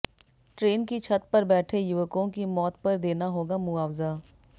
train की छत पर बैठे युवकों की मौत पर देना होगा मुअावजा